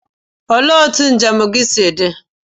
Olee otú njem gị si dị?